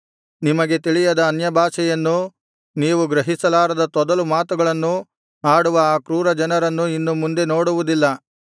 ನಿಮಗೆ ತಿಳಿಯದ ಅನ್ಯಭಾಷೆಯನ್ನೂ ನೀವು ಗ್ರಹಿಸಲಾರದ ತೊದಲು ಮಾತುಗಳನ್ನೂ ಆಡುವ ಆ ಕ್ರೂರ ಜನರನ್ನು ಇನ್ನು ಮುಂದೆ ನೋಡುವುದಿಲ್ಲ